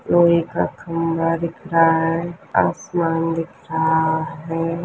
लोहे का खंभा दिख रहा है आसमान दिख रहा है।